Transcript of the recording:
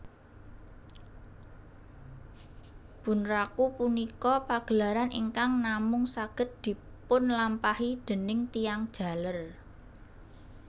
Bunraku punika pagelaran ingkang namung saged dipunlampahi déning tiyang jaler